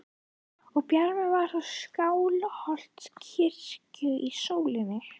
Það bjarmaði á þak Skálholtskirkju í sólinni.